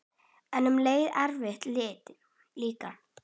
En um leið erfitt líka.